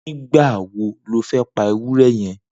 Nigba wó ló fẹ̀ pà éwùrè yèn?